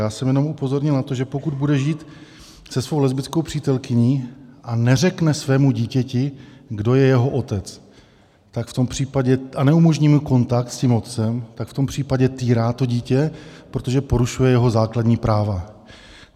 Já jsem jenom upozornil na to, že pokud bude žít se svou lesbickou přítelkyní a neřekne svému dítěti, kdo je jeho otec, a neumožní mu kontakt s tím otcem, tak v tom případě týrá to dítě, protože porušuje jeho základní práva.